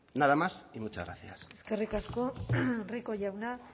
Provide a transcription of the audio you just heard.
nada más y muchas gracias eskerrik asko rico jauna